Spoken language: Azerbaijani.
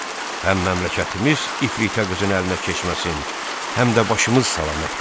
Həm məmləkətimiz ifritə qızın əlinə keçməsin, həm də başımız salamat qalsın.